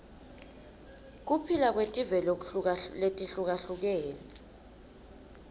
kuphila kwetive letihlukahlukene